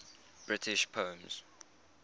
british poems